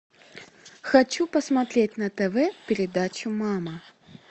хочу посмотреть на тв передачу мама